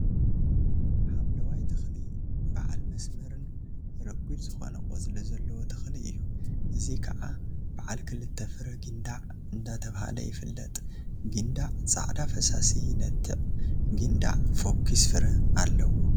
ሓምለዋይ ተክሊ በዓል መስመርን ረጒድን ዝኮነ ቆፅሊ ዘለዎ ተክሊ እዩ፡፡ እዚ ከዓ በዓል ክልተ ፍረ ጊንዳዕ እንዳተብሃለ ይፍለጥ፡፡ ጊንዳዕ ፃዕዳ ፈሳሲ ይነትዕ፡፡ ጊንዳዕ ፎዂስ ፈረ አለዎ፡፡